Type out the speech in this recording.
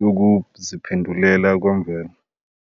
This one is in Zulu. yokuziphendukela kwemvelo.